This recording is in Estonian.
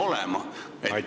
Aitäh!